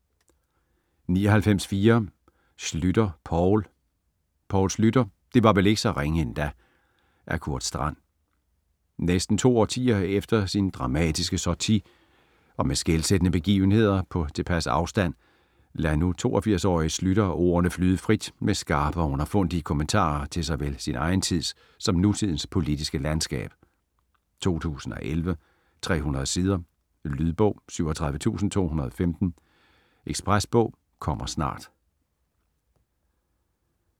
99.4 Schlüter, Poul Poul Schlüter: det var vel ikke så ringe endda -- Af Kurt Strand. Næsten to årtier efter sin dramatiske sortie og med skelsættende begivenheder på tilpas afstand lader nu 82-årige Schlüter ordene flyde frit med skarpe og underfundige kommentarer til såvel sin egen tids som nutidens politiske landskab. 2011, 300 sider. Lydbog 37215 Ekspresbog - kommer snart